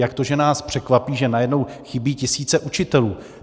Jak to, že nás překvapí, že najednou chybí tisíce učitelů?